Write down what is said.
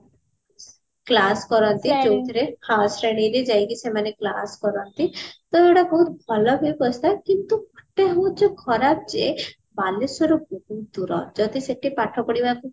class କରନ୍ତି ହଁ ଶ୍ରେଣୀରେ ଯାଇକି ସେମାନେ class କରାନ୍ତି ତ ଏଗୁଡା ବହୁତ ଭଲ ବ୍ୟବସ୍ତା କିନ୍ତୁ ଗୋଟେ ହଉଛି ଖରାପ ଯେ ବାଲେଶ୍ଵର ବହୁତ ଦୂର ଯଦି ସେଠି ପାଠ ପଢିବାକୁ